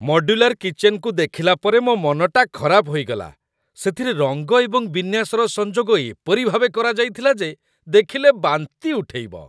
Modular କିଚେନ୍‌କୁ ଦେଖିଲା ପରେ ମୋ ମନଟା ଖରାପ ହୋଇଗଲା। ସେଥିରେ ରଙ୍ଗ ଏବଂ ବିନ୍ୟାସର ସଂଯୋଗ ଏପରି ଭାବେ କରାଯାଇଥିଲା ଯେ ଦେଖିଲେ ବାନ୍ତି ଉଠେଇବ।